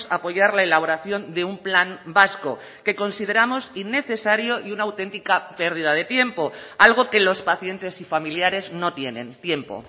apoyar la elaboración de un plan vasco que consideramos innecesario y una auténtica pérdida de tiempo algo que los pacientes y familiares no tienen tiempo